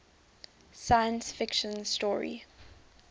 science fiction story